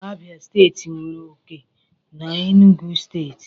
Abia steeti nwere oke na steeti Enugu